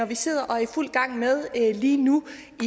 vi sidder og er i fuld gang med lige nu